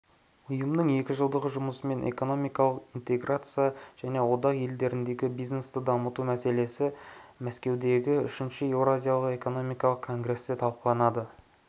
ұйымның екі жылдағы жұмысы мен экономикалық интеграция және одақ елдеріндегі бизнесті дамыту мәселелері мәскеудегі үшінші еуразиялық экономикалық конгресте талқыланды